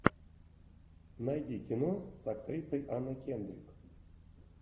найди кино с актрисой анной кендрик